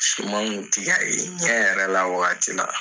Siman kun tɛ ka ye ɲɛ yɛrɛ la waati wagati la